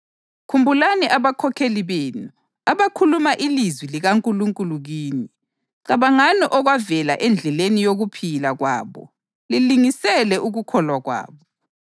Khumbulani abakhokheli benu, abakhuluma ilizwi likaNkulunkulu kini. Cabangani okwavela endleleni yokuphila kwabo lilingisele ukukholwa kwabo.